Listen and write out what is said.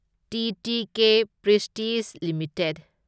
TTK Prestige limited